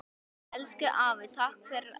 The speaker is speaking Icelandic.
Elsku afi takk fyrir allt.